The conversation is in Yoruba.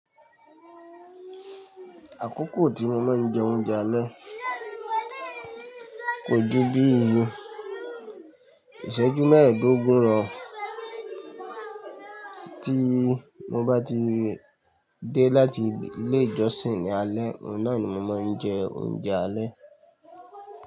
Àkókò tí mo máa ń jẹ oúnjẹ alẹ́ kò jù bíi ìṣẹ́jú mẹ́ẹ̀ẹ́dógún lọ. Tí mo bá ti dé láti ilé ìjọsìn ní alé, ọ̀nà ni mo máa ń jẹ oúnjẹ alẹ́.